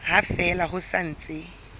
ha fela ho sa ntse